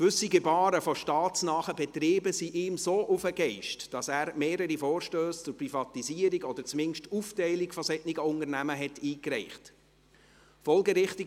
Gewisse Gebaren von staatsnahen Betrieben gingen ihm so sehr auf den Geist, dass er mehrere Vorstösse zur Privatisierung oder zumindest Aufteilung solcher Unternehmen eingereicht hat.